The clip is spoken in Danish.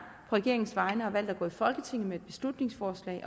regeringens vegne har valgt at gå i folketinget med et beslutningsforslag